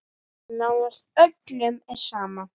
Og nánast öllum er sama.